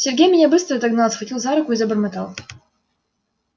сергей меня быстро догнал схватил за руку и забормотал